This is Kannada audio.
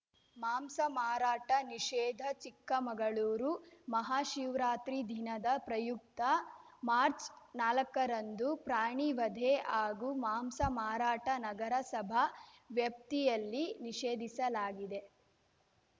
ಮಾಂಸ ಮಾರಾಟ ನಿಷೇಧ ಚಿಕ್ಕಮಗಳೂರು ಮಹಾಶಿವರಾತ್ರಿ ದಿನದ ಪ್ರಯುಕ್ತ ಮಾರ್ಚ್ನಾಲಕ್ಕರಂದು ಪ್ರಾಣಿವಧೆ ಹಾಗೂ ಮಾಂಸ ಮಾರಾಟ ನಗರಸಭಾ ವ್ಯಾಪ್ತಿಯಲ್ಲಿ ನಿಷೇಧಿಸಲಾಗಿದೆ